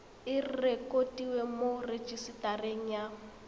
e rekotiwe mo rejisetareng ya